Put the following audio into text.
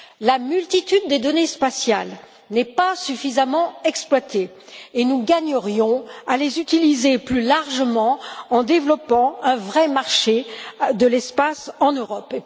La multitude des données spatiales n'est pas suffisamment exploitée et nous gagnerions à les utiliser plus largement en développant un vrai marché de l'espace en Europe.